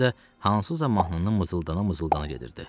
Özü də hansısa mahnını mızıldana-mızıldana gedirdi.